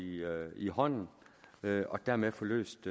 i hånden og dermed få løst